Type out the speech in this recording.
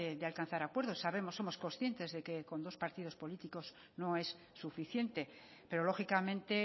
de alcanzar acuerdos sabemos y somos conscientes de que con dos partidos políticos no es suficiente pero lógicamente